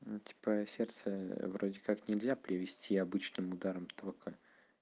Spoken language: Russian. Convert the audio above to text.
ну типа сердце вроде как нельзя привезти обычным ударом тока